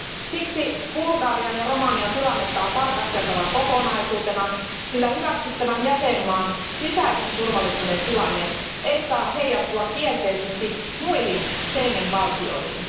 Siksi Bulgarian ja Romanian tilannetta on tarkasteltava kokonaisuutena, sillä hyväksyttävän jäsenvaltion sisäisen turvallisuuden tilanne ei saa heijastua kielteisesti muihin Schengen valtioihin.